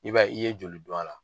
I b'a ye, i ye joli k'a la?